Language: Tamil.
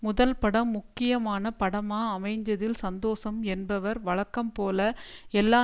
முதல் படம் முக்கியமான படமா அமைஞ்சதில் சந்தோஷம் என்பவர் வழக்கம்போல எல்லா